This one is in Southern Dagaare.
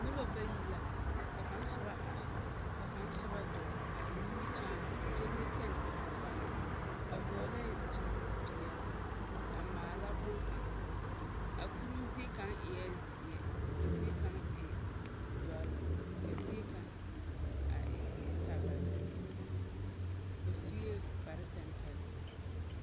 Noba bayi la, ka kaŋa soba are ka kaŋa soba dͻͻ a eŋ nimbikyaane kyԑ leŋ pԑne o kͻkͻreŋ. O vͻgelԑԑ zupili peԑle a maala boŋkaŋa. A kuruu ziekaŋa eԑԑ zeԑ ka ziekaŋa e dͻre, ka ziekaŋa a e kabala. Ba sue kpare tampԑloŋ.